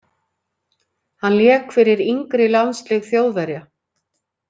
Hann lék fyrir yngri landslið Þjóðverja.